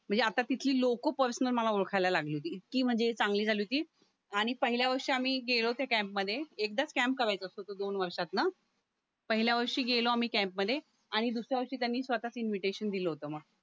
म्हणजे आता तिथली लोकं पर्सनल मला ओळखायला लागली होती इतकी म्हणजे चांगली झाली होती आणि पहिल्या वर्षी आम्ही गेलो होतो त्या कॅम्पमध्ये एकदाच कॅम्प करायचा असतो तो दोन वर्षात ना पहिल्या वर्षी गेलो आम्ही कॅम्पमध्ये आणि दुसऱ्या वर्षी त्यांनी स्वतःच इन्व्हिटेशन दिलं होतं म